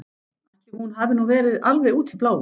Ætli hún hafi nú verið alveg út í bláinn.